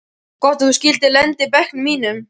Gott að þú skyldir lenda í bekknum mínum.